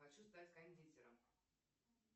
хочу стать кондитером